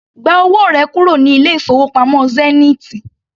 Gba owó rẹ kúrò ní ilé-ìfowópamọ́ Zenith!